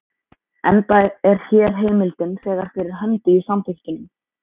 enda er hér heimildin þegar fyrir hendi í samþykktunum.